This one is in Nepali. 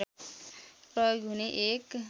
प्रयोग हुने एक